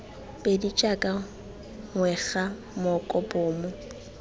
pedi jaaka ngwega moko bomo